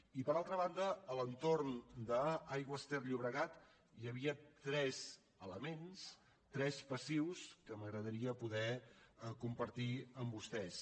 i per altra banda a l’entorn d’aigües ter llobregat hi havia tres elements tres passius que m’agradaria poder compartir amb vostès